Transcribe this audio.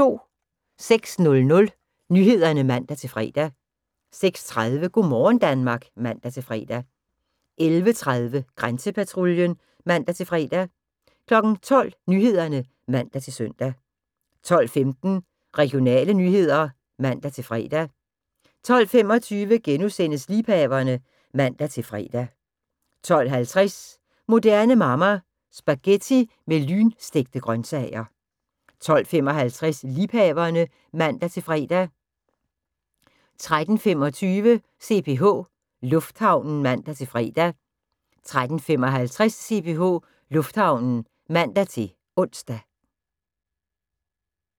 06:00: Nyhederne (man-fre) 06:30: Go' morgen Danmark (man-fre) 11:30: Grænsepatruljen (man-fre) 12:00: Nyhederne (man-søn) 12:15: Regionale nyheder (man-fre) 12:25: Liebhaverne *(man-fre) 12:50: Moderne Mamma – Spaghetti med lynstegte grøntsager 12:55: Liebhaverne (man-fre) 13:25: CPH Lufthavnen (man-fre) 13:55: CPH Lufthavnen (man-ons)